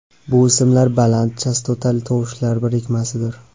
Bu ismlar baland chastotali tovushlar birikmasidir.